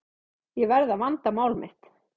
Ég verð að vanda mál mitt.